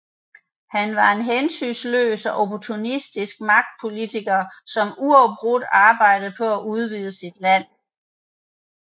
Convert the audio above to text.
Han var en hensynsløs og opportunistisk magtpolitiker som uafbrudt arbejdede på at udvide sit land